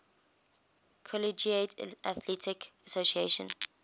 collegiate athletic association